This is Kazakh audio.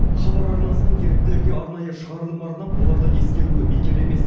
хабар арнасының еріктілерге арнайы шығарылым арнап оларды ескеруі бекер емес